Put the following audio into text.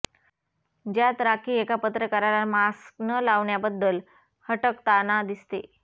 ज्यात राखी एका पत्रकाराला मास्क न लावण्याबद्दल हटकताना दिसते